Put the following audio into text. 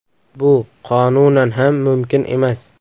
Bu qonunan ham mumkin emas.